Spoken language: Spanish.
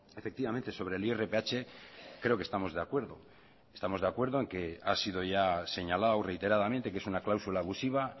efectivamente sobre el irph creo que estamos de acuerdo estamos de acuerdo en que ha sido ya señalado reiteradamente que es una cláusula abusiva